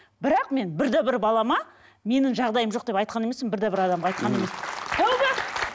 бірақ мен бірде бір балама менің жағдайым жоқ деп айтқан емеспін бірде бір адамға айтқан емеспін тәубе